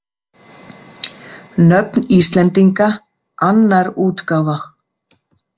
Nöfn Íslendinga, annar útgáfa